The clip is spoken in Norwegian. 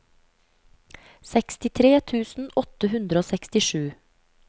sekstitre tusen åtte hundre og sekstisju